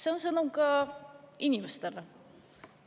See on sõnum ka inimestele.